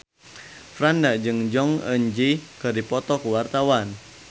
Franda jeung Jong Eun Ji keur dipoto ku wartawan